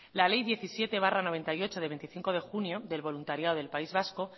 la ley diecisiete barra mil novecientos noventa y ocho de veinticinco de junio del voluntariado del país vasco